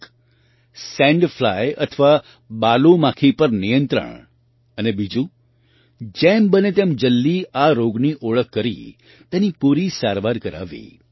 એક sand fly અથવા બાલુ માખી પર નિયંત્રણ અને બીજું જેમ બને તેમ જલ્દી આ રોગની ઓળખ કરી તેની પૂરી સારવાર કરાવવી